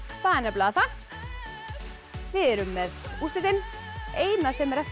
það er nefnilega það við erum með úrslitin eina sem er eftir